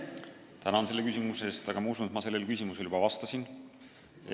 Tänan selle küsimuse eest, aga ma usun, et ma sellele juba vastasin.